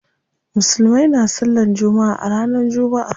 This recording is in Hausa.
Musulmai na sallan jumma'a ranar jumma'a.